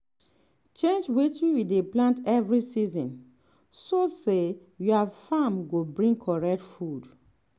change wetin you dey plant every season so say your farm go bring correct food.